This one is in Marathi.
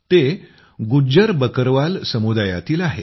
ते गुज्जर बकरवाल समुदायातील आले आहेत